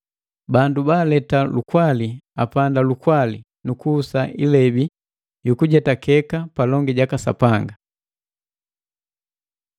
Bandu baaleta lukwali apanda lukwali nu kuhusa ilebi yukujetakeka palongi jaka Sapanga.